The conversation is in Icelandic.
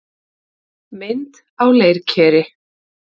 Mynd á leirkeri.